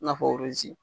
I n'a fɔ